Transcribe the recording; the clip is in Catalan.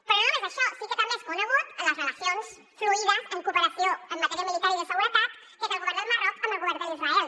però no només això sí que també són conegudes les relacions fluïdes en cooperació en matèria militar i de seguretat que té el govern del marroc amb el govern d’israel